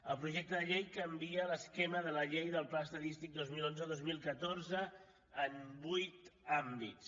el projecte de llei canvia l’esquema de la llei del pla estadístic dos mil onze dos mil catorze en vuit àmbits